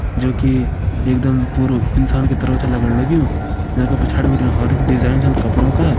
जोकि एक दम पूरू इंसान की तरह छ लगण लग्युं। येका पिछाड़ी बिटिन और भी डिज़ाइन छन कपड़ों का।